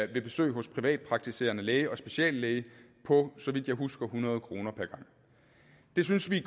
ved besøg hos privatpraktiserende læge og speciallæge på så vidt jeg husker hundrede kroner per gang det synes vi